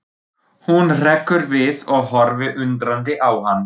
Hún hrekkur við og horfir undrandi á hann.